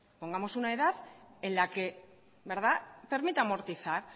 pongamos una edad en la que permita amortizar